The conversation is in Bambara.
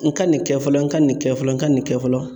N ka nin kɛ fɔlɔ n ka nin kɛ fɔlɔ n ka nin kɛ fɔlɔ.